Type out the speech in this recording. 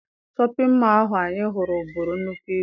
Shọpịn mọọ ahụ anyị hụrụ buru nnukwu ibu.